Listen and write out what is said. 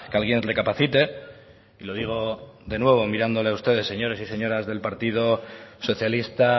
alguien recapacite y lo digo de nuevo mirándoles a ustedes señores y señoras del partido socialista